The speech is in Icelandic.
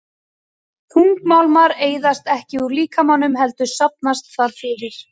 Þungmálmar eyðast ekki úr líkamanum heldur safnast þar fyrir.